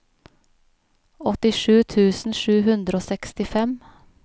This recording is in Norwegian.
åttisju tusen sju hundre og sekstifem